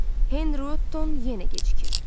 Henri, ton yenə gecikir.